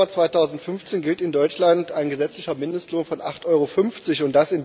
1. Januar 2015 gilt in Deutschland ein gesetzlicher Mindestlohn von 8,50 Euro.